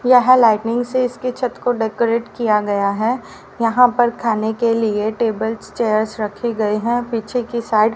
यहां लाइटनिग इसकी छत को डेकोरेट किया गया है यहां पर खाने के लिए टेबल चेयर्स रखे गए हैं पीछे के साइड --